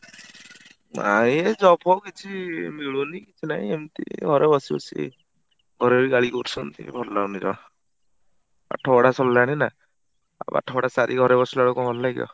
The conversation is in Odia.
ନାଇଁ ଏ job ଫବ କିଛି ମିଳୁନି କିଛି ନାହିଁ ଏମତି ଘରେ ବସି ବସି ଘରେ ବି ଗାଳିକରୁଛନ୍ତି ଭଲ ଲାଗୁନି ପାଠପଢା ସରିଲାଣି ନା| ଆଉ ପାଠପଢା ସାରି ଘରେ ବସିଲାବେଳକୁ କଣ ଭଲ ଲାଗିବ?